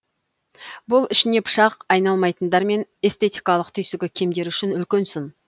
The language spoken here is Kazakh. бұл ішіне пышақ айналмайтындар мен эстетикалық түйсігі кемдер үшін үлкен сын